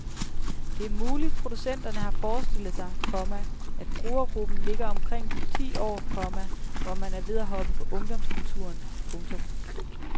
Det er muligt producenterne har forestillet sig, komma at brugergruppen ligger omkring de ti år, komma hvor man er ved at hoppe på ungdomskulturen. punktum